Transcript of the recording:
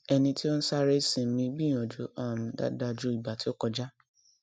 ẹni tí ó ń sáré sinmi gbìyànjú um dáadáa ju ìgbà tí kọjá